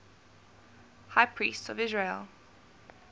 high priests of israel